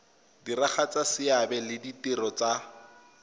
diragatsa seabe le ditiro tsa